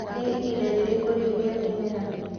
nĩ ĩhĩnda rĩrĩkũ riũ rĩa kĩrĩma